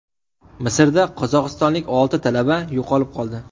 Misrda qozog‘istonlik olti talaba yo‘qolib qoldi.